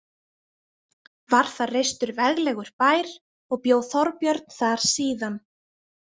Var þar reistur veglegur bær og bjó Þorbjörn þar síðan.